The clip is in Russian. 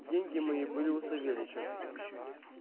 деньги мои были у савельича